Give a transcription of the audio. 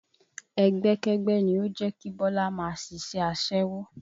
Ẹgbẹ́kẹ́gbẹ́ ni ó jẹ́ kí Bọlá máa ṣiṣẹ́ aṣẹ́wó